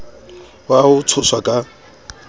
ao a ho tshoswa ka